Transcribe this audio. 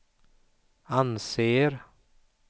anser